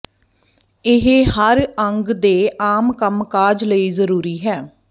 ਇਹ ਹਰ ਅੰਗ ਦੇ ਆਮ ਕੰਮਕਾਜ ਲਈ ਜ਼ਰੂਰੀ ਹੈ